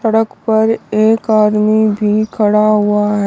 सड़क पर एक आदमी भी खड़ा हुआ है।